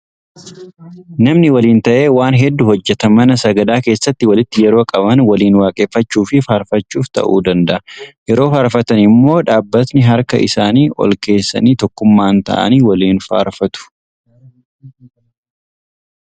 Namni waliin ta'ee Waan hedduu hojjeta. Mana sagadaa keessatti walitti yeroo qabaman waliin waaqeffachuu fi faarfachuuf ta'uu danda'a. Yeroo faarfatan immoo dhaabbatanii harka isaanii ol kaasanii tokkummaan ta'anii waliin faarfatu.